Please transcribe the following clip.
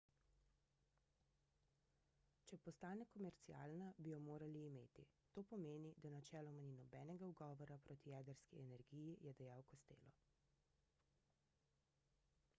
če postane komercialna bi jo morali imeti to pomeni da načeloma ni nobenega ugovora proti jedrski energiji je dejal costello